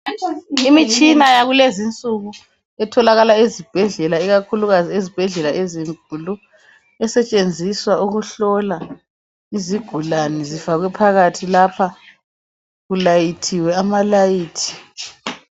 Imitshina yakulezi insuku etholakala ezibhedlela ikakhulu ezibhedlela ezinkulu ezisetshenziswa ukuhlola izigulani zifakwe phakathi lapha kulayithiwe amalayithi